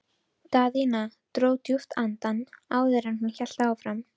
Daðína dró djúpt andann áður en hún hélt áfram.